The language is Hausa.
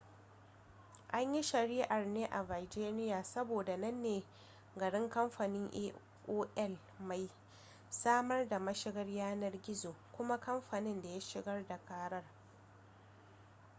an yi shari'ar ne a virginia saboda nan ne garin kamfanin aol mai samar da mashigar yanar gizo kuma kamfanin da ya shigar da karar